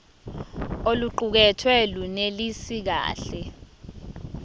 oluqukethwe lunelisi kahle